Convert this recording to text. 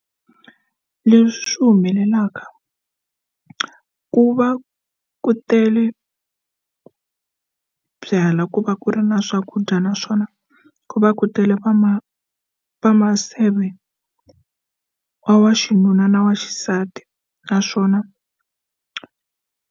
Leswi humelelaka ku va ku tele byalwa ku va ku ri na swakudya naswona ku va ku tele va ma va maseve wa wa xinuna na wa xisati naswona.